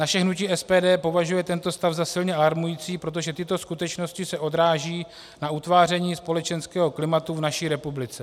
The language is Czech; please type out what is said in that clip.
Naše hnutí SPD považuje tento stav za silně alarmující, protože tyto skutečnosti se odrážejí na utváření společenského klimatu v naší republice.